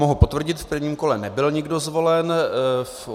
Mohu potvrdit, v prvním kole nebyl nikdo zvolen.